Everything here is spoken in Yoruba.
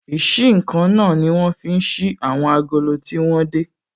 Ìsí-nǹkan náà ní wọ́n fi ń ṣí àwọn agolo tí wọ́n dè